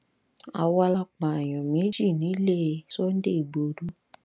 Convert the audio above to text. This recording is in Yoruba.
àwa la pààyàn méjì nílé sunday igbodò